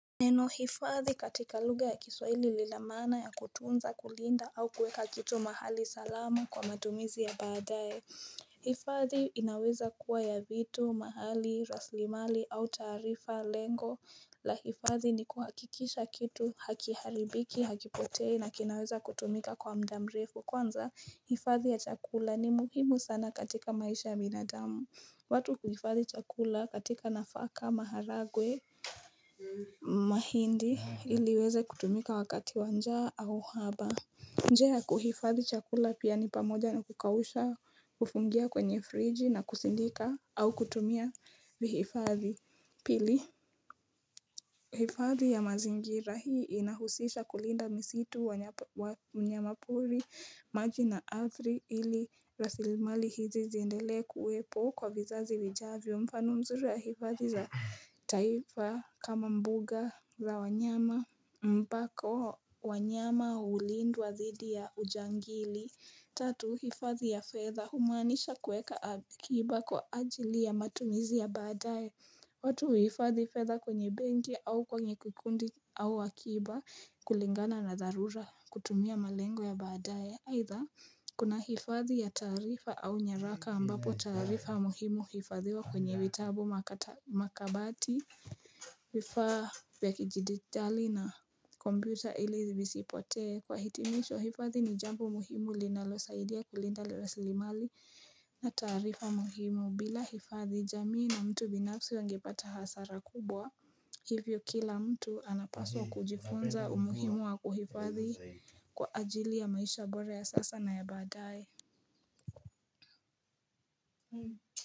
Neno hifadhi katika luga ya kiswaili lila mana ya kutunza kulinda au kuweka kitu mahali salamu kwa madumizi ya badae hifadhi inaweza kuwa ya vitu, mahali, raslimali au tarifa lengo la hifadhi ni kuhakikisha kitu, hakiharibiki, hakipotei na kinaweza kutumika kwa mdamrefu Kwanza hifadhi ya chakula ni muhimu sana katika maisha ya minadamu watu kuhifadhi chakula katika nafaka maharagwe mahindi iliweze kutumika wakati wanjaa au haba Njea kuhifadhi chakula pia ni pamoja na kukawusha kufungia kwenye friji na kusindika au kutumia vihifadhi pili hifadhi ya mazingira hii inahusisha kulinda misitu wa mnyama puri maji na arthi ili rasilimali hizi zindele kuwepo kwa vizazi wijavyo mfano mzuri ya hifadhi za taifa kama mbuga za wanyama Mpako wanyama ulindwu wa thidi ya ujangili Tatu hifadhi ya feather humanisha kueka akiba kwa ajili ya matumizi ya badae watu hifadhi fedha kwenye bengi au kwenye kukundi au wakiba kulingana na darura kutumia malengo ya baadae Either kuna hifadhi ya tarifa au nyeraka ambapo tarifa muhimu hifadhiwa kwenye witabu makabati vifaa vya kijididhali na komputer ili zivisipotee kwa hitimisho hifadhi ni jambu muhimu linalo saidia kulinda lorasilimali na tarifa muhimu bila hifadhi jamii na mtu binapsi wangepata hasara kubwa Hivyo kila mtu anapaswa kujifunza umuhimu wa kuhifadhi kwa ajili ya maisha bora sasa na ya badai.